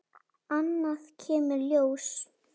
Annað kemur ljós